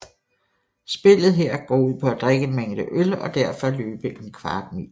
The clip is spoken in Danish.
Spillet går her ud på at drikke en mængde øl og derefter løbe en kvart mil